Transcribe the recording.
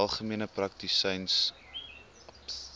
algemene praktisyns aps